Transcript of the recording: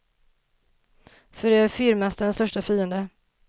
För det är fyrmästarens största fiende.